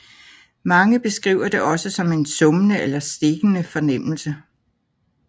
Mange beskriver det også som en summende eller stikkende fornemmelse